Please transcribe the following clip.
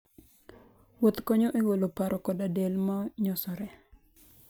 Wuoth konyo e golo paro koda del ma nyosore.